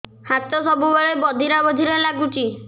ହାତ ସବୁବେଳେ ବଧିରା ବଧିରା ଲାଗୁଚି